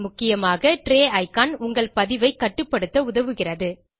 முக்கியமாக tray icon உங்கள் பதிவை கட்டுப்படுத்த உதவுகிறது